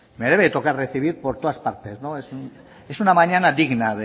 me debe de tocar recibir por todas partes es una mañana digna